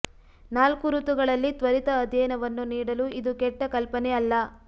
ನಾಲ್ಕು ಋತುಗಳಲ್ಲಿ ತ್ವರಿತ ಅಧ್ಯಯನವನ್ನು ನೀಡಲು ಇದು ಕೆಟ್ಟ ಕಲ್ಪನೆ ಅಲ್ಲ